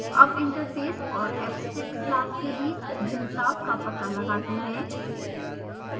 अब interface और abstract class के बीच भिन्नता का पता लगाते हैं